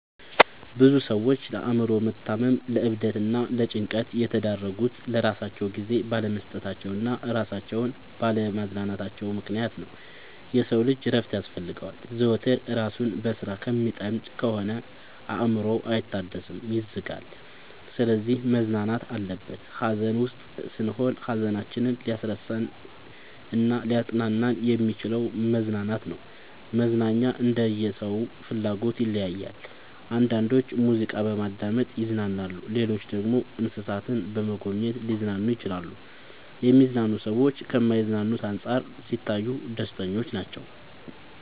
ብዙ ሰዎች ለአእምሮ መታመም ለዕብደት እና ለጭንቀት የተዳረጉት ለራሳቸው ጊዜ ባለመስጠታቸው እና እራሳቸውን ባለ ማዝናናታቸው ምክንያት ነው። የሰው ልጅ እረፍት ያስፈልገዋል። ዘወትር እራሱን በስራ ከሚጠምድ ከሆነ አእምሮው አይታደስም ይዝጋል። ስለዚህ መዝናናት አለበት። ሀዘን ውስጥ ስንሆን ሀዘናችንን ሊያስረሳን እናሊያፅናናን የሚችለው መዝናናት ነው። መዝናናኛ እንደየ ሰው ፍላጎት ይለያያል። አንዳንዶች ሙዚቃ በማዳመጥ ይዝናናሉ ሌሎች ደግሞ እንሰሳትን በመጎብኘት ሊዝናኑ ይችላሉ። የሚዝናኑ ሰዎች ከማይዝናኑት አንፃር ሲታዩ ደስተኞች ናቸው።